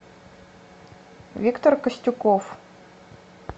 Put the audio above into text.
виктор костюков